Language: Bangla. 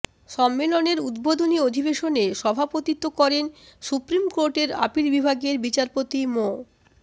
সম্মেলনের উদ্বোধনী অধিবেশনে সভাপতিত্ব করেন সুপ্রিম কোর্টের আপিল বিভাগের বিচারপতি মো